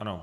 Ano.